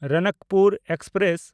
Ranakpur express